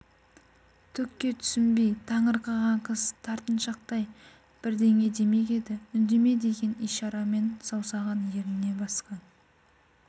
түкке түсінбей таңырқаған қыз тартыншақтай бірдеңе демек еді үндеме деген ишарамен саусағын ерніне басқан